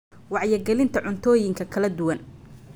Wacyigelinta Cuntooyinka kala duwan.